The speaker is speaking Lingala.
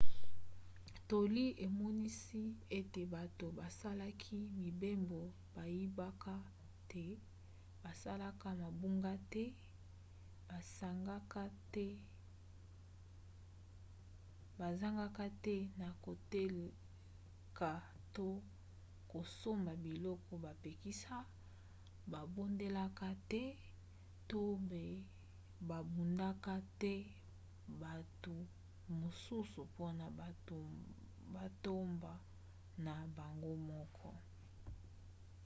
toli emonisi ete bato basalaki mibembo bayibaka te basalaka mabunga te basangaka te na koteka to kosomba biloko bapekisa babondelaka te to mpe babubaka te bato mosusu mpona matomba na bango moko